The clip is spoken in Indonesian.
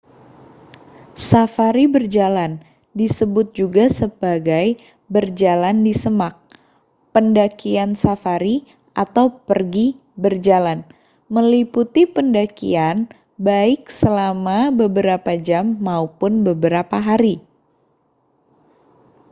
"safari berjalan disebut juga sebagai berjalan di semak pendakian safari atau pergi berjalan meliputi pendakian baik selama beberapa jam maupun beberapa hari.